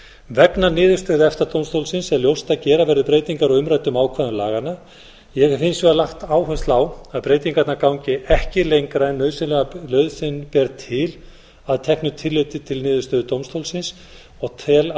vegna niðurstöðu efta dómstólsins er ljóst að gera verður breytingar á umræddum ákvæðum laganna ég hef hins vegar lagt áherslu á að breytingarnar gangi ekki lengra en nauðsyn ber til að teknu tilliti til niðurstöðu dómstólsins og tel að